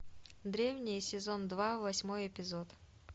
древние сезон два восьмой эпизод